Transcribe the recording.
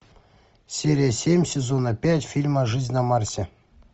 серия семь сезона пять фильма жизнь на марсе